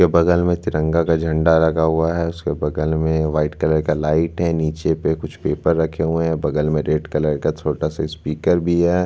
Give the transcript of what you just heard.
उसके बगल में तिरंगा का झंडा लगा हुआ है उसके बगल में व्हाइट कलर का लाइट है नीचे पे कुछ पेपर रखे हुए है बगल में रेड कलर का छोटा सा स्पीकर भी है।